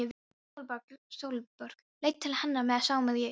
Sólborg leit til hennar með samúð í augunum.